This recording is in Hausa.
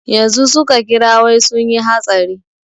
Yanzu su ka kira wai sunyi hatsari.